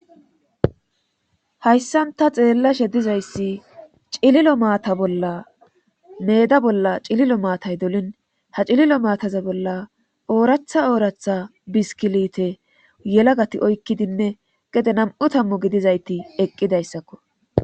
hayssanta xeella she dizayssi cililo maata bolla meda bolla cililo maatay dolin ha cililo maataza bolla ooratha ooratha biskilite yelagati oykkidinne gede nam7u tammu gidizayti eqqidayssakko